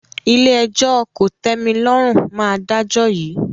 Ilé-ẹjọ́ kò tẹ́mi lọ́rùn máa dájọ́ yìí